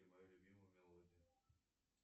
мою любимую мелодию